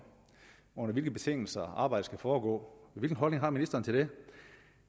under hvilke betingelser arbejdet skal foregå hvilken holdning har ministeren til det